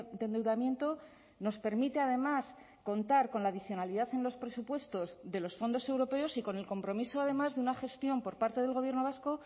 de endeudamiento nos permite además contar con la adicionalidad en los presupuestos de los fondos europeos y con el compromiso además de una gestión por parte del gobierno vasco